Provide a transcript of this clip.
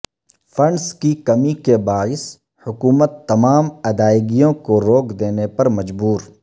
funds کی کمی کے باعث حکومت تمام ادائیگیوں کو روک دینے پر مجبور